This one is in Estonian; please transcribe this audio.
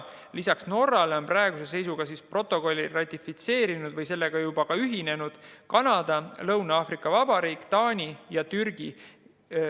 Lisaks on praeguse seisuga protokolli ratifitseerinud või sellega juba ühinenud Kanada, Lõuna-Aafrika Vabariik, Taani ja Türgi.